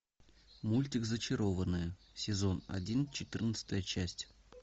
мультик зачарованные сезон один четырнадцатая часть